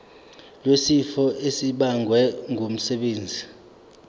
wesifo esibagwe ngumsebenzi